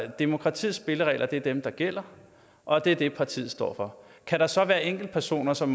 demokratiets spilleregler er dem der gælder og det er det partiet står for kan der så være enkeltpersoner som